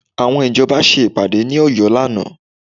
Àwọn ìjọba ṣe ìpàdé ní Ọ̀yọ́ lánàá